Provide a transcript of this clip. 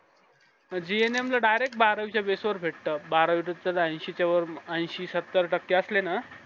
gnm ला direct बारावीच्या base वर भेटत बारावी ऐंशी वर ऐंशी सत्तर टक्के असले ना